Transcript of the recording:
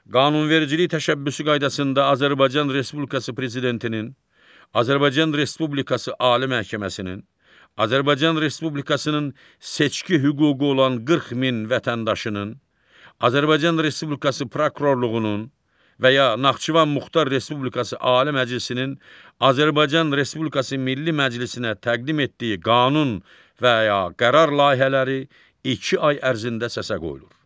Qanunvericilik təşəbbüsü qaydasında Azərbaycan Respublikası prezidentinin, Azərbaycan Respublikası Ali Məhkəməsinin, Azərbaycan Respublikasının seçki hüququ olan 40 min vətəndaşının, Azərbaycan Respublikası prokurorluğunun və ya Naxçıvan Muxtar Respublikası Ali Məclisinin Azərbaycan Respublikası Milli Məclisinə təqdim etdiyi qanun və ya qərar layihələri iki ay ərzində səsə qoyulur.